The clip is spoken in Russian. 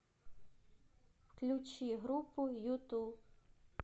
включи группу юту